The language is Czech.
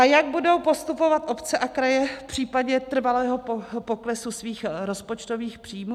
A jak budou postupovat obce a kraje v případě trvalého poklesu svých rozpočtových příjmů?